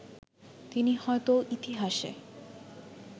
তিনি হয়তো ইতিহাসে